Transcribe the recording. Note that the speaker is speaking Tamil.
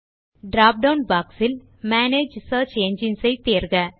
டிராப் டவுன் பாக்ஸ் இல் மேனேஜ் சியர்ச் என்ஜின்ஸ் ஐ தேர்க